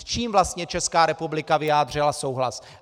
S čím vlastně Česká republika vyjádřila souhlas?"